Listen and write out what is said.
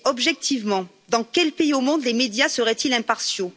Mais, objectivement, dans quel pays au monde les médias seraient ils impartiaux?